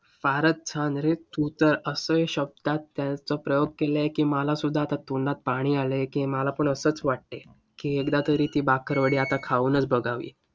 फारच छान रे! तू तर असे शब्दांत त्याचा प्रयोग केलय की, मला सुद्धा तोंडात पाणी आलंय की, मला पण असंच वाटतंय की एकदा तरी ती भाकरवडी आता खाऊनच बघावी.